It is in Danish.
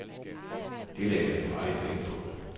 Det lægger jeg meget vægt på.